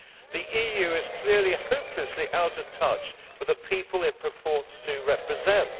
The EU is clearly hopelessly out of touch with the people it purports to represent.